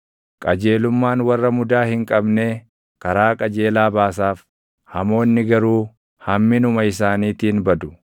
Qajeelummaan warra mudaa hin qabnee // karaa qajeelaa baasaaf; hamoonni garuu hamminuma isaaniitiin badu.